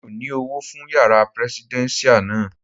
Mi ò ní Owó fún yàrá prẹsidẹ́nṣíà náà.